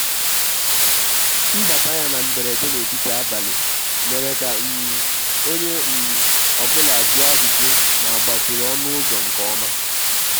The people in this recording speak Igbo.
mbàtà yá na mberede n'etiti abalị mèrè kà um onye um ọ bụla jụọ ajụjụ mà àgbàchìrì ọnụ́ ụ́zọ̀ nke ọma.